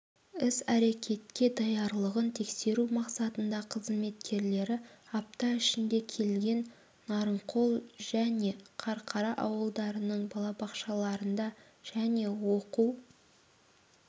іс-әрекеттке даярлығын тексеру мақсатында қызметкерлері апта ішінде кеген нарыңқол және қарқара ауылдарының балабақшаларында және оқу